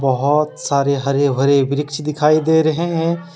बहोत सारे हरे भरे वृक्ष दिखाई दे रहे हैं।